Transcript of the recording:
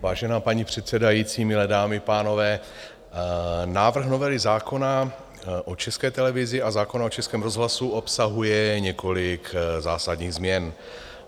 Vážená paní předsedající, milé dámy, pánové, návrh novely zákona o České televizi a zákona o Českém rozhlasu obsahuje několik zásadních změn.